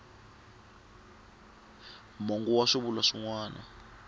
mongo wa swivulwa swin wana